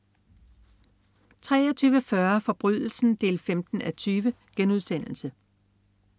23.40 Forbrydelsen 15:20*